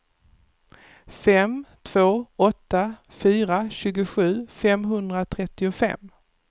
fem två åtta fyra tjugosju femhundratrettiofem